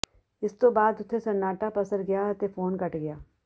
ਇਸ ਤੋਂ ਬਾਅਦ ਉੱਥੇ ਸੰਨਾਟਾ ਪਸਰ ਗਿਆ ਅਤੇ ਫੋਨ ਕਟ ਗਿਆ